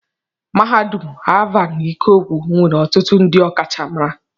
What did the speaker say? Mahadum Alvan Ikoku nwere ọtụtụ ndị ọkachamara.